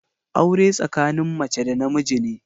Aure tsakanin mace da na miji ne.